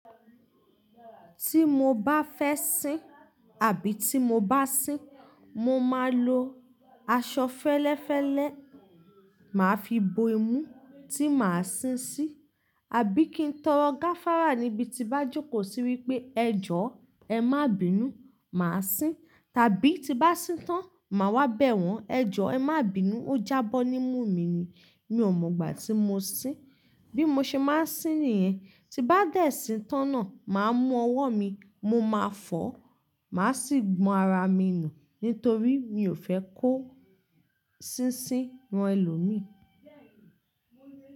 Tí mo bá fẹ́ sin àbí tí mo bá sin, mo máa lo aṣọ fẹ́lẹ́fẹ́lẹ́, màá fi bo imú tí màá sin sí, àbí kí n tọrọ gáfárà níbi tí bá jókòó sí wípé ẹjọ́, ẹ má bínú, màá sin, tàbí tí bá sin tán, màá wá bẹ̀ wọ́n. Ẹ jọ ẹ má bínú, ó jábọ́ ní mú mi ni. Mi ò mọ̀ gbà tí mo sin. Bí mo ṣe máa ń sin nìyẹn, tí bá dẹ̀ sin tán náà, màá mú ọwọ́ mi, mo máa fọ̀, màá sì gbọn ara mi nu nítorí mi ò fẹ́ kó sínsin ran ẹlòmíì.